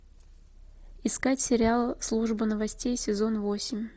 искать сериал служба новостей сезон восемь